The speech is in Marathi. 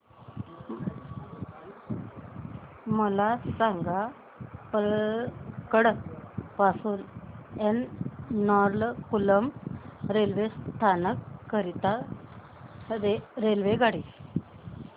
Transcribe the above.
मला सांग पलक्कड पासून एर्नाकुलम रेल्वे स्थानक करीता रेल्वेगाडी